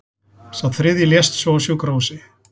Sá þriðji lést svo á sjúkrahúsi